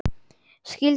Skildi börn.